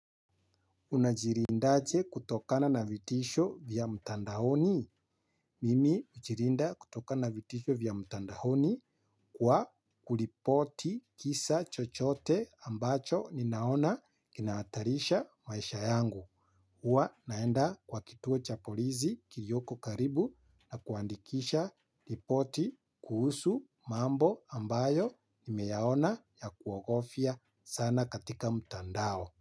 Unajilindaje kutokana na vitisho vya mtandaoni. Mimi hujilinda kutokana vitisho vya mtandaoni kwa kuripoti kisa chochote ambacho ninaona kinahatarisha maisha yangu. Huwa naenda kwa kituo cha polisi kilioko karibu na kuandikisha ripoti kuhusu mambo ambayo nimeyaona ya kuogofia sana katika mtandao.